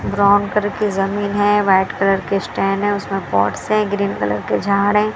Brown करके जमीन है। वाइट कलर के स्टैंड है। उसमें पॉट्स है ग्रीन कलर के झाड़ है।